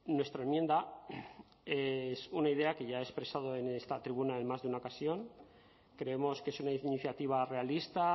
nuestra enmienda es una idea que ya he expresado en esta tribuna en más de una ocasión creemos que es una iniciativa realista